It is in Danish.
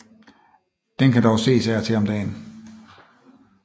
Den kan dog ses af og til om dagen